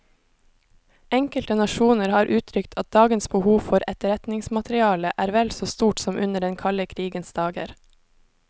Enkelte nasjoner har uttrykt at dagens behov for etterretningsmateriale er vel så stort som under den kalde krigens dager.